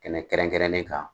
Ka tɛmlɛ kɛrɛnkɛrɛnnen kan